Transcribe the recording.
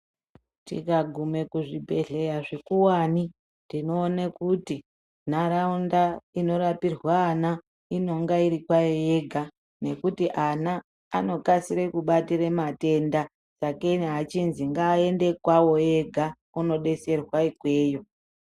Tika gume ku zvibhedhleya zvikuwani tinoone kuti nharaunda ino rapirwe ana inenge iri payo yega nekuti ana ano kasire kubatire matenda sake achinzi nga aende kwawo ege ano deserwa ikweyo.